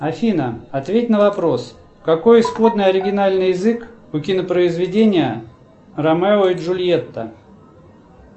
афина ответь на вопрос какой исходный оригинальный язык у кинопроизведения ромео и джульетта